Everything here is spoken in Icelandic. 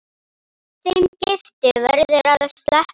Þeim giftu verður að sleppa.